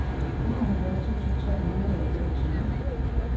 enoghalvfjerds tusind tre hundrede og femogtyve